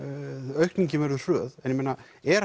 aukningin verður hröð en er